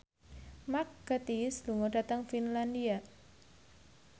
Mark Gatiss lunga dhateng Finlandia